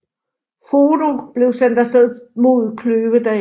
Frodo blev sendt af sted mod Kløvedal